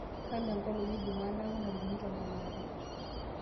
kanu enkolong e jumaa naaku ntarikini tomon aare